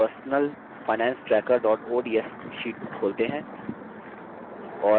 अपनी personal finance tracker ods sheet खोलते हैं